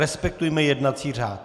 Respektujme jednací řád.